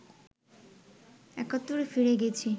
একাত্তরে ফিরে গেছি